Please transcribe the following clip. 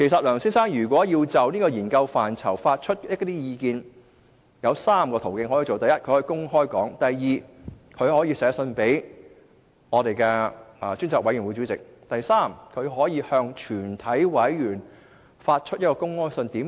梁先生如要就研究範疇發表意見，可循以下3個途徑：第一，公開表達意見；第二，去信專責委員會主席；第三，向全體委員發出公開信。